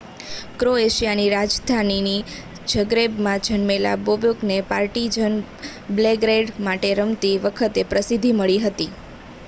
ક્રોએશિયાની રાજધાની ઝગ્રેબમાં જન્મેલા બોબેકને પાર્ટિઝન બેલ્ગ્રેડ માટે રમતી વખતે પ્રસિદ્ધિ મળી